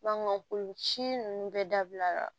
si ninnu bɛɛ dabila